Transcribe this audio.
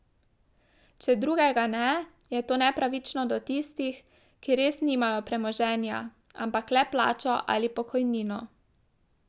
Če drugega ne, je to nepravično do tistih, ki res nimajo premoženja, ampak le plačo ali pokojnino.